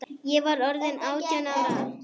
Ég var orðin átján ára.